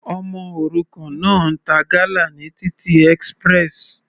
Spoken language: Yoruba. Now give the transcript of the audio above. Ọmọ òrukàn náà ń ta gala ní títì express.